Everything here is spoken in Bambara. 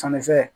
Sannifɛn